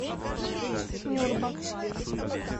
нюрба